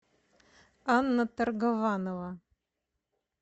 анна торгованова